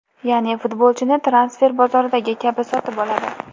Ya’ni, futbolchini transfer bozoridagi kabi sotib oladi.